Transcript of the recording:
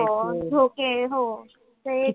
हो झोके हो ते